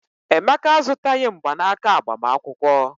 Emeka azụtaghị mgbanaka agbamakwụkwọ.